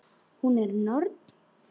Hún er norn.